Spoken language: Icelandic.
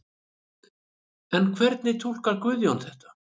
En hvernig túlkar Guðjón þetta?